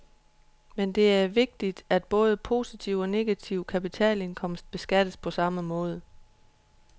Men det er meget vigtigt, at både positiv og negativ kapitalindkomst beskattes på samme måde.